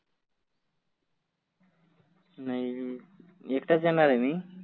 नाही एकटाच येणार आहे मी.